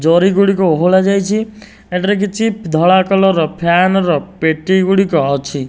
ଜରି ଗୁଡ଼ିକ ଓହୋଳା ଯାଇଛି ଏଠାରେ କିଛି ଧଳା କଲର ର ଫ୍ୟାନ ର ପେଟି ଗୁଡ଼ିକ ଅଛି।